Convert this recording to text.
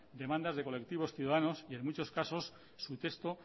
demandas de colectivos ciudadanos y en muchos casos su texto